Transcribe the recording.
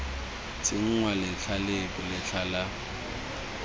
tsenngwa letlha lepe letlha la